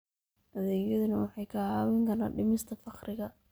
Adeegyadani waxay kaa caawin karaan dhimista faqriga.